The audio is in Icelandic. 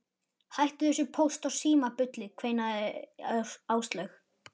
Hættu þessu Póst og Síma bulli kveinaði Áslaug.